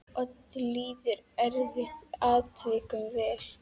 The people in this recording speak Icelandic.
Oddi líður eftir atvikum vel.